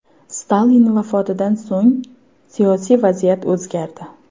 Stalin vafotidan so‘ng siyosiy vaziyat o‘zgardi.